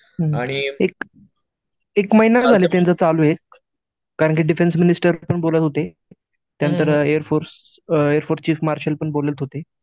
एक एक महिना झालं त्याचं चालू आहे कारण ते डिफेन्स पण मिनिस्टर बोलत होते, त्यानंतर air force uh air force chief marshal पण बोलत होते.